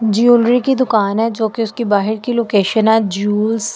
Jewellery की दुकान है जो कि उसकी बाहर की लोकेशन है जवेस ।